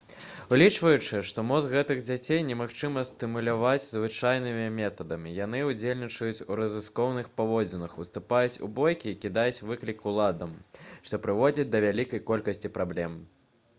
улічваючы што мозг гэтых дзяцей немагчыма стымуляваць звычайнымі метадамі яны «удзельнічаюць у рызыкоўных паводзінах уступаюць у бойкі і кідаюць выклік уладам» што прыводзіць да вялікай колькасці праблем